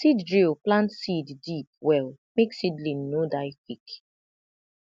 seed drill plant seed deep well make seedling no die quick